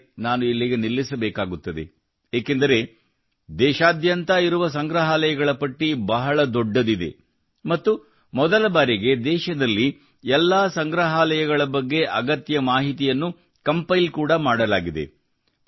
ಸರಿ ನಾನು ಇಲ್ಲಿಗೆ ನಿಲ್ಲಿಸಬೇಕಾಗುತ್ತದೆ ಏಕೆಂದರೆ ದೇಶಾದ್ಯಂತ ಇರುವ ಸಂಗ್ರಹಾಲಯಗಳ ಪಟ್ಟಿ ಬಹಳ ದೊಡ್ಡದಿದೆ ಮತ್ತು ಮೊದಲ ಬಾರಿಗೆ ದೇಶದಲ್ಲಿ ಎಲ್ಲಾ ಸಂಗ್ರಹಾಲಯಗಳ ಬಗ್ಗೆ ಅಗತ್ಯ ಮಾಹಿತಿಯನ್ನು ಕಂಪೈಲ್ ಕೂಡಾ ಮಾಡಲಾಗಿದೆ